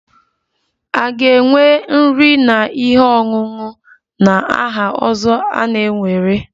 A ga-enwe nri na ihe ọṅụṅụ na aha ozo na-ewere?